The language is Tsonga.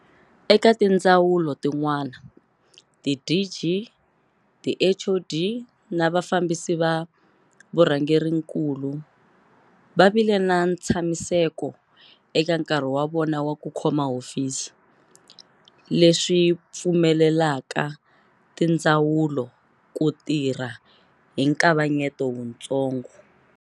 Eka tindzawulo tin'wana, tiDG, tiHoD na vafambisi va vurhangerinkulu va vile na ntshamiseko eka nkarhi wa vona wa ku khoma hofisi, leswi pfumelelaka tindzawu lo ku tirha hi nkavanyeto wutsongo.